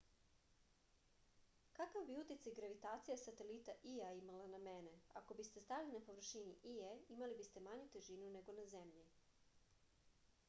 kakav bi uticaj gravitacija satelita ija imala na mene ako biste stajali na površini ije imali biste manju težinu nego na zemlji